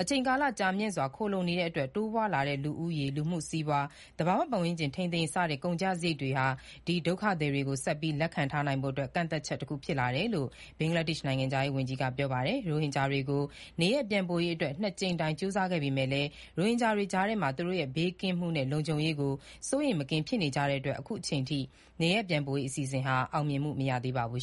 အချိန်ကာလ ကြာမြင့်စွာခိုလှုံနေရတဲ့အတွက် တိုးပွားလာတဲ့ လူဦးရေ၊ လူမှုစီးပွား၊ သဘာဝပတ်ဝန်းကျင်ထိန်းသိမ်းရေး စတဲ့ ကုန်ကျစရိတ်တွေဟာ ဒီဒုက္ခသည်တွေ ကို ဆက်ပြီးလက်ခံထားနိုင်ဖို့အတွက် ကန့်သတ်ချက် တခုဖြစ်လာတယ်လို့ ဘင်္ဂလားဒေ့ရှ် နိုင်ငံခြားရေး ဝန်ကြီးက ပြောပါတယ်။ ရိုဟင်ဂျာတွေကို နေရပ်ပြန်ပို့ရေးအတွက် နှစ်ကြိမ်တိုင်ကြိုးစားခဲ့ပေမဲ့လည်း ရိုဟင်ဂျာတွေကြားထဲမှာ သူတို့ရဲ့ ဘေးကင်းမှုနဲ့ လုံခြုံရေးကို စိုးရိမ်မကင်းဖြစ်နေကြတဲ့အတွက် အခုအချိန်အထိ နေရပ်ပြန်ပို့ရေးအစီအစဉ်ဟာ အောင်မြင်မှု မရသေးပါဘူး